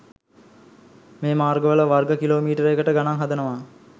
මේ මාර්ගවල වර්ග කිලෝමීටරයකට ගණන් හදනවා